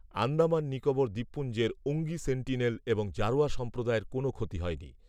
আন্দামান নিকোবর দ্বীপপুঞ্জের ওঙ্গি সেন্টিনেল এবং জারোয়া সম্প্রদায়ের কোনও ক্ষতি হয়নি